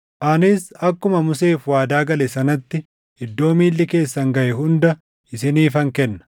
Anis akkuma Museef waadaa gale sanatti iddoo miilli keessan gaʼe hunda isiniifan kenna.